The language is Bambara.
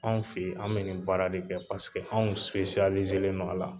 Anw fɛ yen, an bɛ nin baara de kɛ paseke anw don a la.